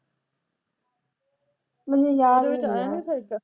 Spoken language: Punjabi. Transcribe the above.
ਮੈਨੂੰ ਯਾਦ ਨਈਂ